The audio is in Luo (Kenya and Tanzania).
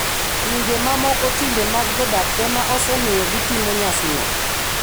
Pinje mamoko timbe mag jodak ema osemiyo gitimo nyasino.